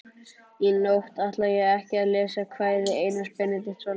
Í nótt ætla ég ekki að lesa kvæði Einars Benediktssonar.